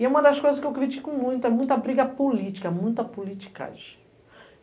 E é uma das coisas que eu critico muito, é muita briga política, muita politicagem.